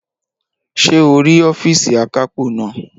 Ṣé o rí ọ́fììsì akápò naa?